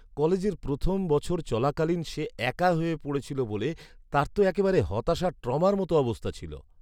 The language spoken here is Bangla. কলেজের প্রথম বছর চলাকালীন সে একা হয়ে পড়েছিল বলে তার তো একেবারে হতাশা ট্রমার মতো অবস্থা ছিল!